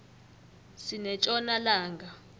sinetjona langa